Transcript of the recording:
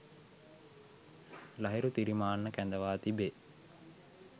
ලහිරු තිරිමාන්න කැඳවා තිබේ.